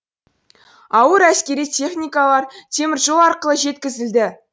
ауыр әскери техникалар теміржол арқылы жеткізілді